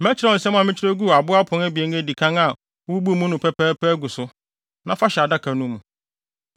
Mɛkyerɛw nsɛm a mekyerɛw guu abo apon abien a edi kan a wububuu mu no bi pɛpɛɛpɛ agu so. Na fa hyɛ adaka no mu.”